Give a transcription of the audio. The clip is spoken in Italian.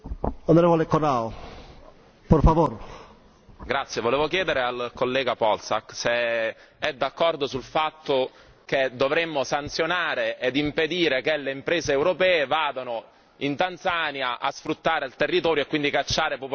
Volevo chiedere al collega Polčák se è d'accordo sul fatto che dovremmo sanzionare e impedire che le imprese europee vadano in Tanzania a sfruttare il territorio e quindi cacciare popolazioni, come i masai, per fare degli investimenti speculativi su quel territorio.